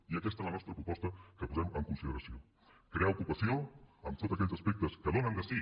i aquesta és la nostra proposta que posem en consideració crear ocupació amb tots aquells aspectes que donen de si